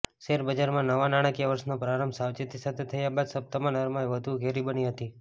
શેરબજારમાં નવા નાણાકીય વર્ષનો પ્રારંભ સાવચેતી સાથે થયા બાદ સપ્તાહમાં નરમાઈ વધુ ઘેરી બની હતી